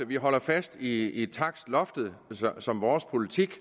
vi holder fast i takstloftet som vores politik